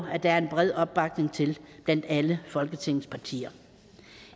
at der er en bred opbakning til blandt alle folketingets partier